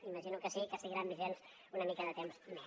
imagino que sí que seguiran vigents una mica de temps més